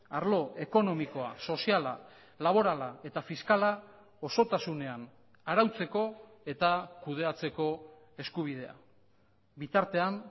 arlo ekonomikoa soziala laborala eta fiskala osotasunean arautzeko eta kudeatzeko eskubidea bitartean